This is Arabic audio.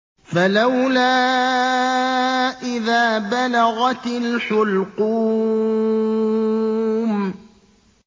فَلَوْلَا إِذَا بَلَغَتِ الْحُلْقُومَ